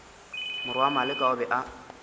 morwa maleka o be a